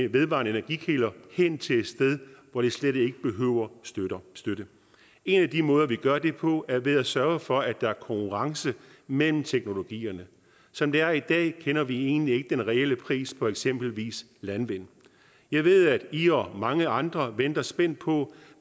vedvarende energikilder hen til et sted hvor de slet ikke behøver støtte en af de måder vi gør det på er ved at sørge for at der er konkurrence mellem teknologierne som det er i dag kender vi egentlig ikke den reelle pris på eksempelvis landvind jeg ved at i og mange andre venter spændt på